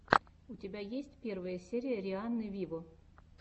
у тебя есть первая серия рианны виво